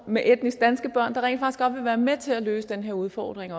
med etnisk danske børn der godt vil være med til at løse den her udfordring